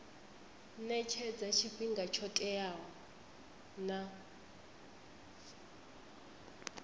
etshedza tshifhinga tsho teaho na